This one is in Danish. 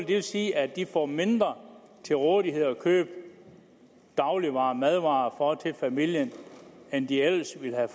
det sige at de får mindre at købe dagligvarer og madvarer for til familien end de ellers ville have